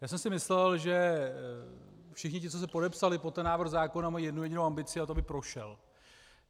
Já jsem si myslel, že všichni ti, co se podepsali pod ten návrh zákona, mají jednu jedinou ambici, a to by prošel.